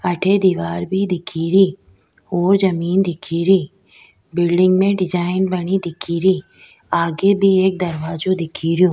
अठे दिवार दिख भी री और जमीं दिख री बिलडिंग में डिजाइन बनी दिख री आगे भी एक दरवाजो दिख रियो।